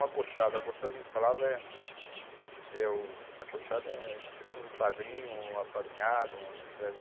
O acochado, o acochado que a gente falava é... É o, acochado é tipo um padrinho, um apadrinhado, um né?